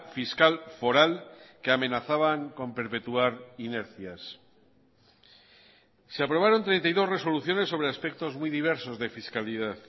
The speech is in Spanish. fiscal foral que amenazaban con perpetuar inercias se aprobaron treinta y dos resoluciones sobre aspectos muy diversos de fiscalidad